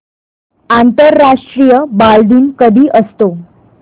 आंतरराष्ट्रीय बालदिन कधी असतो